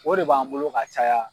O de b'an bolo ka caya.